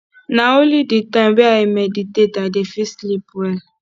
na only di time wey i meditate i dey fit sleep well